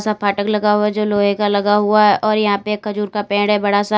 फाटक लगा हुआ हैं जो लोहे का लगा हुआ है और यहां पे एक खजूर का पेड़ है बड़ा सा।